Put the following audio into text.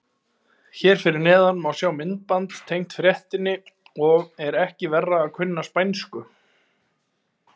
Hér fyrir neðan má sjá myndband tengt fréttinni og er ekki verra að kunna spænsku.